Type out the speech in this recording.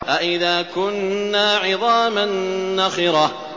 أَإِذَا كُنَّا عِظَامًا نَّخِرَةً